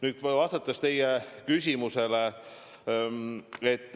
Nüüd, kui vastata teie küsimusele ...